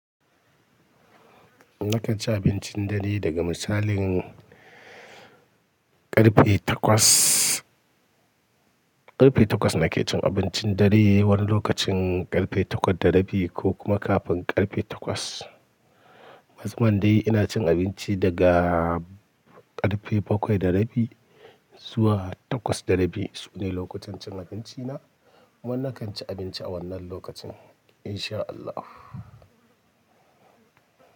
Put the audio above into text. Nakan ci abincin dare daga misalin ƙarfe takwas. Ƙarfe takwas nake cin abincin dare, wani lokacin ƙarfe takwas da rabi ko kuma kafin ƙarfe takwas. Mazmun dai ina cin abinci daga ƙarfe bakwai da rabi zuwa takwas da rabi, sune lokutan cin abinci na. Wannan kan ci abinci a wannan lokacin insha Allahn.